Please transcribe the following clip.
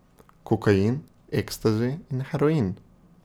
Kokain, ekstazi in heroin.